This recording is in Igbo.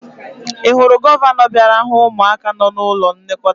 Ị hụrụ gọvanọ bịara hụ ụmụaka nọ n'ụlọ nlekọta?